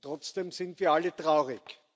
Trotzdem sind wir alle traurig.